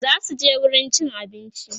zasuje wurin cin abinci